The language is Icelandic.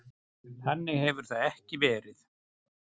Þannig hefur það ekki verið.